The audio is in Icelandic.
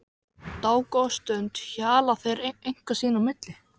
Dágóða stund hjala þeir eitthvað sín á milli.